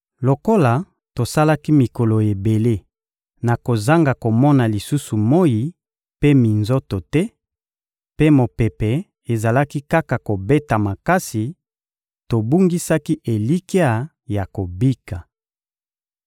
Lokola tosalaki mikolo ebele na kozanga komona lisusu moyi mpe minzoto te, mpe mopepe ezalaki kaka kobeta makasi, tobungisaki elikya ya kobika.